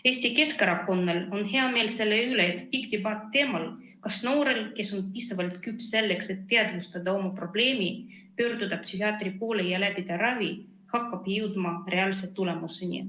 Eesti Keskerakonnal on hea meel selle üle, et pikk debatt teemal, kas noorel, kes on piisavalt küps selleks, et teadvustada oma probleemi, pöörduda psühhiaatri poole ja läbida ravi, hakkab jõudma reaalsete tulemusteni.